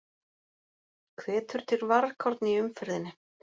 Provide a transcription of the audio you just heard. Hvetur til varkárni í umferðinni